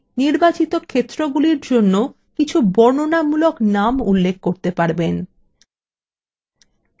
এখানেই আপনি নির্বাচিত ক্ষেত্রগুলির জন্য বর্ণনামূলক names উল্লেখ করতে পারবেন